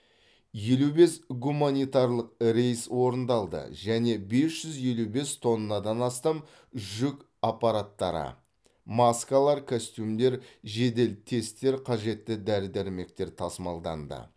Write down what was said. елу бес гуманитарлық рейс орындалды және бес жүз елу бес тоннадан астам жүк аппараттары маскалар костюмдер жедел тесттер қажетті дәрі дәрмектер тасымалданды